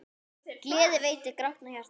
Gleði veitir grátnu hjarta.